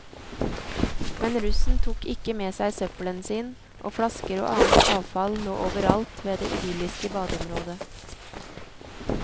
Men russen tok ikke med seg søppelen sin, og flasker og annet avfall lå overalt ved det idylliske badeområdet.